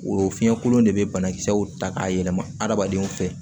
O fiɲɛ kolon de bɛ banakisɛw ta k'a yɛlɛma hadamadenw fɛ